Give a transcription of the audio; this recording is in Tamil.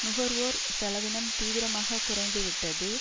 நுகர்வோர் செலவினம் தீவிரமாக குறைந்துவிட்டது